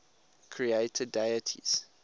creator deities